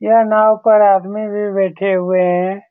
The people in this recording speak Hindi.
यह नाव पर आदमी भी बैठे हुए हैं।